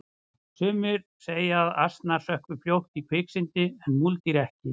sumir segja að asnar sökkvi fljótt í kviksyndi en múldýr ekki